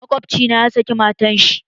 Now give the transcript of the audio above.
Makwabci na ya saki matar shi.